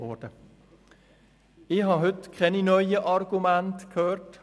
Heute habe ich keine neuen Argumente gehört.